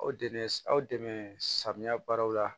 Aw dɛmɛ aw dɛmɛ samiya baaraw la